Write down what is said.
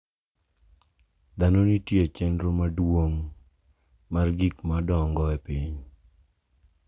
Dhano nitie e chenro maduong’ mar gik ma dongo e piny.